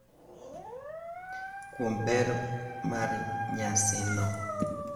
Kuom ber mar nyasino,